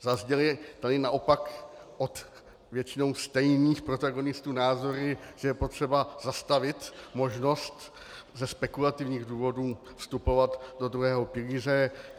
Zazněly tu naopak od většinou stejných protagonistů názory, že je potřeba zastavit možnost ze spekulativních důvodů vstupovat do druhého pilíře.